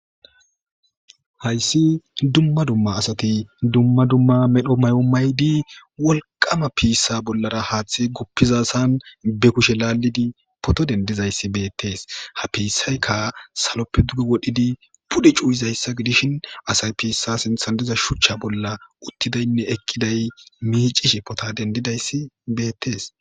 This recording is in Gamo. hayssi dumma dumma asati dumma dumma medho may7o maydi wolqama piissa bollara haaththi guppizasan be kushe laalidi poto dendizayssi beettees ha piissayka saloppe duge wodhidi pude cuuyizayssa gidishin asay piissa sinthan diza shuchcha bolla uttidaynne ekkiday miicishe pota dendidayssi beettees